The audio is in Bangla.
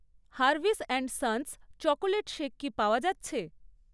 Harvis and Sons chocolate shake কি পাওয়া যাচ্ছে?